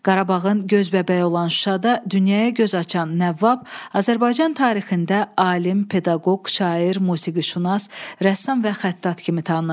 Qarabağın göz bəbəyi olan Şuşada dünyaya göz açan Nəvvab Azərbaycan tarixində alim, pedaqoq, şair, musiqişünas, rəssam və xəttat kimi tanınıb.